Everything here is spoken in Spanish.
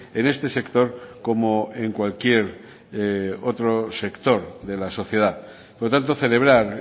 en este sector como en cualquier otro sector de la sociedad por lo tanto celebrar